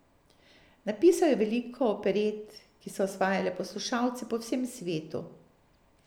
Napisal je veliko operet, ki so osvajale poslušalce po vsem svetu.